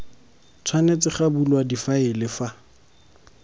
tshwanetse ga bulwa difaele fa